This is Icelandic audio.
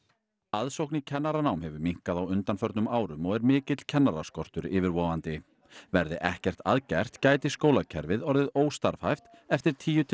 aðsókn í kennaranám hefur minnkað á undanförnum árum og er mikill kennaraskortur yfirvofandi verði ekkert að gert gæti skólakerfið orðið óstarfhæft eftir tíu til